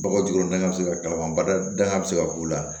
Bɔgɔ jukɔrɔ daga bɛ se ka kalama bada bɛ se ka k'u la